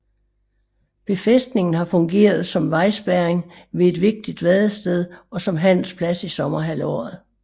Befæstningen har fungeret som vejspærring ved et vigtigt vadested og som handelsplads i sommerhalvåret